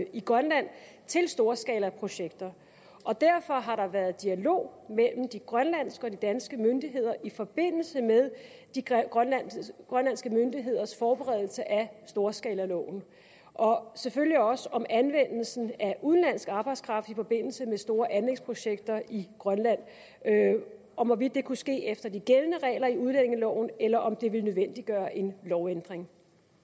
i grønland til storskalaprojekter derfor har der været dialog mellem de grønlandske og de danske myndigheder i forbindelse med de grønlandske grønlandske myndigheders forberedelse af storskalaloven og selvfølgelig også om anvendelsen af udenlandsk arbejdskraft i forbindelse med store anlægsprojekter i grønland om hvorvidt det kunne ske efter de gældende regler i udlændingeloven eller om det vil nødvendiggøre en lovændring